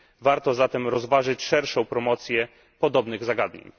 Warto zatem rozważyć szerszą promocję podobnych zagadnień.